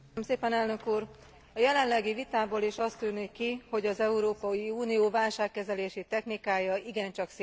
A jelenlegi vitából is az tűnik ki, hogy az Európai Unió válságkezelési technikája igencsak széles skálán mozog.